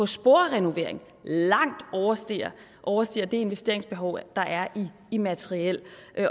sporrenovering langt overstiger overstiger det investeringsbehov der er i materiel